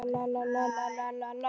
Eruð þið lík í ykkur?